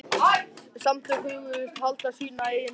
Samtökin hugðust halda sína eigin hátíð.